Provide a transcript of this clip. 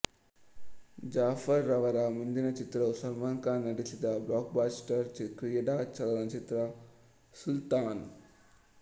ಜಾಫರ್ ರವರ ಮುಂದಿನ ಚಿತ್ರವು ಸಲ್ಮಾನ್ ಖಾನ್ ನಟಿಸಿದ ಬ್ಲಾಕ್ಬಸ್ಟರ್ ಕ್ರೀಡಾ ಚಲನಚಿತ್ರ ಸುಲ್ತಾನ್